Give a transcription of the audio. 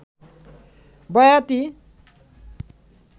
বয়াতী